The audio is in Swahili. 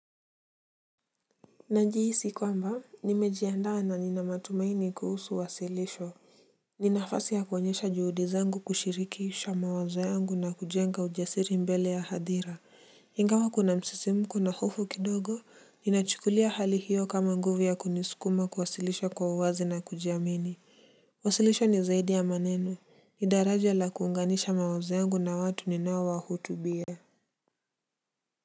Najihisi kwamba nimejiandaa na nina matumaini kuhusu wasilisho. Ni nafasi ya kuonyesha juhudi zangu kushirikisha mawazo yangu na kujenga ujasiri mbele ya hadhira. Ingawa kuna msisimko na hofu kidogo ninachukulia hali hiyo kama nguvu ya kunisukuma kuwasilisha kwa uwazi na kujiamini. Wasilisho ni zaidi ya maneno ni daraja la kuunganisha mawazo yangu na watu ninaowahutubia.